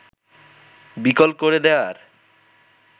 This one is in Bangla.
বিকল করে দেয়ার